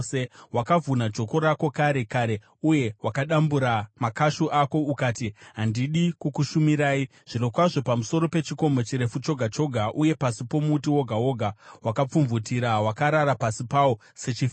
“Wakavhuna joko rako kare kare uye wakadambura makashu ako; ukati, ‘Handidi kukushumirai!’ Zvirokwazvo, pamusoro pechikomo chirefu choga choga, uye pasi pomuti woga woga wakapfumvutira, wakarara pasi pawo sechifeve.